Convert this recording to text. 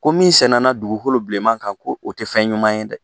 Ko min sɛnɛ dugukolo bilenman kan ko o tɛ fɛn ɲuman ye dɛ.